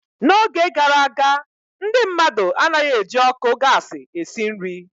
N'oge gara aga, ndị mmadụ anaghị eji ọkụ gasi esi nri.